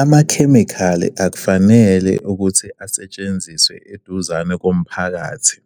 Amakhemikhali akufanele ukuthi asetshenziswe eduzane komphakathi,